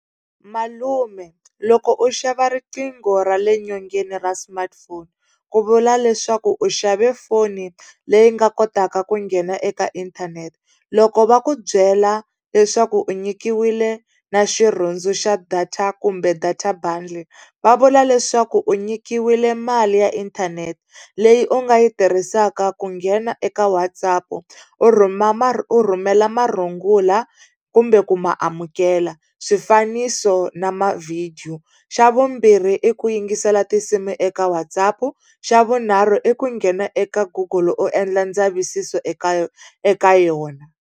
Malume loko u xava riqingho ra le nyongeni ra smartphone ku vula leswaku u xave foni leyi nga kotaka ku nghena eka inthanete. Loko va ku byela leswaku u nyikiwile na xirhundu xa data kumbe data bundle va vula leswaku u nyikiwile mali ya inthanete leyi u nga yi tirhisaka ku nghena eka WhatsApp u rhuma u rhumela marungula kumbe ku ma amukela, swifaniso na mavhidiyo. Xa vumbirhi i ku yingisela tinsimu eka WhatsApp. Xa vunharhu i ku nghena eka goggle u endla ndzavisiso eka eka yona.